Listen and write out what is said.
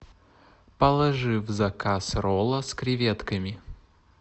положи в заказ ролла с креветками